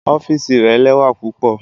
Ọfiisi rẹ lẹwa pupọ.